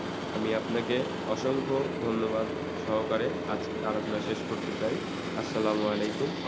আমি আপনাকে অসংখ্য ধন্যবাদ সহকারে আজ আলোচনা শেষ করতে চাই। আসলাম ওয়ালাইকুম,